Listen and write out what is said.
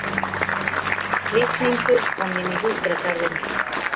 Litningur kominn í húsdýragarðinn